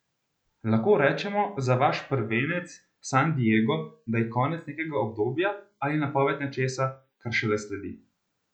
Lahko rečemo za vaš prvenec San Di Ego, da je konec nekega obdobja ali napoved nečesa, kar šele sledi?